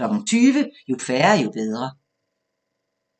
20:00: Jo færre, jo bedre